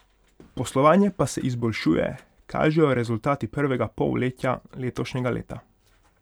Poslovanje pa se izboljšuje, kažejo rezultati prvega polletja letošnjega leta.